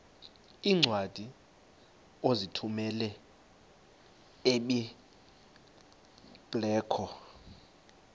iincwadi ozithumela ebiblecor